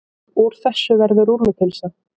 Úr þessu verður rúllupylsa.